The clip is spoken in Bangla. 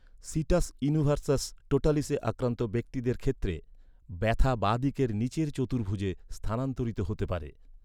সিটাস ইনভার্সাস টোটালিসে আক্রান্ত ব্যক্তিদের ক্ষেত্রে ব্যথা বাঁ দিকের নীচের চতুর্ভুজে স্থানান্তরিত হতে পারে।